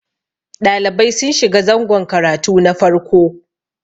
ɗalibai sun shiga zangon karatu na farko